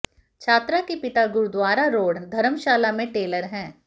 छात्रा के पिता गुरुद्वारा रोड़ धर्मशाला में टेलर हैं